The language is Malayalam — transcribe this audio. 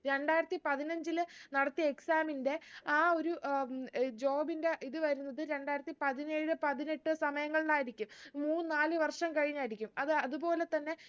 രണ്ടായിരത്തി പതിനഞ്ചില് നടത്തിയ exam ന്റെ ആ ഒരു ഏർ job ന്റെ ഇത് വരുന്നത് രണ്ടായിരത്തി പതിനേഴ് പതിനെട്ട് സമയങ്ങളിലായിരിക്കും മൂന്ന് നാല് വർഷം കഴിഞ്ഞായിരിക്കും അതാ അത് പോലെ തന്നെ